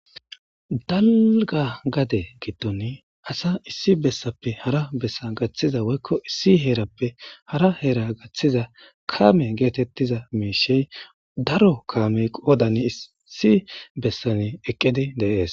daliga gade giddon asa issi bessappe hara bessa gaththiza woykko issi heerappe hara heera gaththiza kame geetettiza miishey daro kaamey qoodani issi bessani eqqidi deees